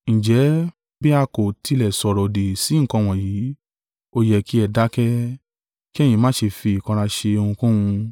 Ǹjẹ́ bi a kò tilẹ̀ sọ̀rọ̀-òdì sí nǹkan wọ̀nyí, ó yẹ kí ẹ dákẹ́, kí ẹ̀yin má ṣe fi ìkanra ṣe ohunkóhun.